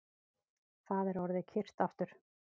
Það er orðið kyrrt aftur